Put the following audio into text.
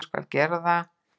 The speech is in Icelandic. Hún skal gera það.